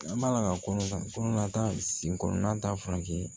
An b'a la ka kɔnɔ ta sen kɔnɔna ta fan fɛ